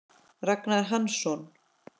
Ragnar Hansson